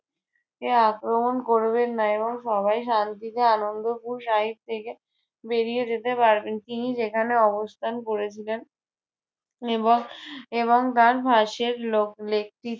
আক্রমণ করবেন না এবং সবাই শান্তিতে আনন্দপুর শাহিদ থেকে বেরিয়ে যেতে পারবেন। তিনি যেখানে অবস্থান করেছিলেন এবং এবং তার লোক lake টি